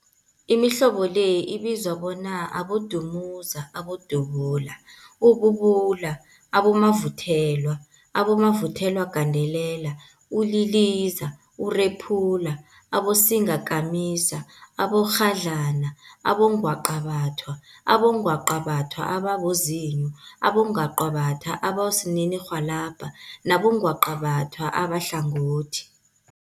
Imihlobo le ibizwa bona, Abodumuza, Abodubula, ububula, abomavuthelwa, abomavuthelwagandelela, uliliza, urephula, abosingakamisa, abomakghadlana, abongwaqabathwa, abongwaqabathwa ababozinyo, abongwaqabathwa abosininirhwalabha nabongwaqabatha abahlangothi.